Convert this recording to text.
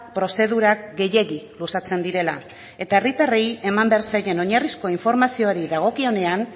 prozedurak gehiegi luzatzen direla eta herritarrei eman behar zaien oinarrizko informazioari dagokionean